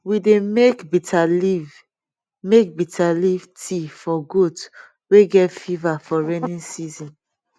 we dey make bitter leaf make bitter leaf tea for goat wey get fever for rainy season